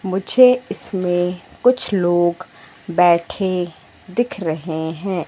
मुझे इसमें कुछ लोग बैठे दिख रहे हैं।